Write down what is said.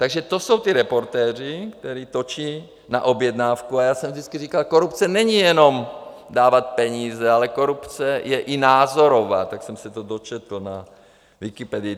Takže to jsou ti reportéři, kteří točí na objednávku - a já jsem vždycky říkal, korupce není jenom dávat peníze, ale korupce je i názorová, tak jsem se to dočetl na Wikipedii.